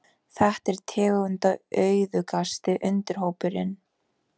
Þetta er tegundaauðugasti undirhópurinn.